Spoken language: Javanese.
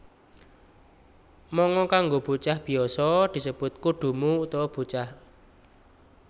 Manga kanggo bocah biasa disebut Kodomo utawa bocah